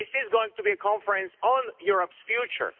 This is going to be a conference on Europe's future.